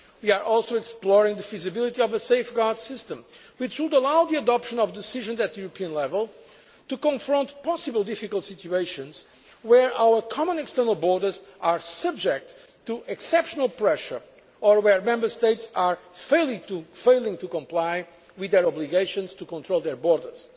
We are also exploring the feasibility of a safeguard system which would allow the adoption of decisions at European level to confront possible difficult situations where our common external borders are subject to exceptional pressure or where Member States are failing to comply with their obligations to control their borders.